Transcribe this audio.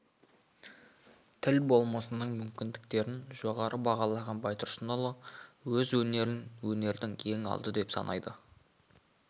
тіл болмысының мүмкіндіктерін жоғары бағалаған байтұрсынұлы сөз өнерін өнердің ең алды деп санайды